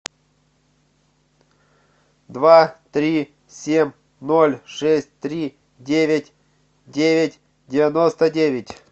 два три семь ноль шесть три девять девять девяносто девять